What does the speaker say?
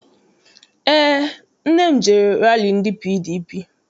Eé, nne m jere rali ndị PDP.